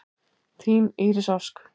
Þín Íris Ósk.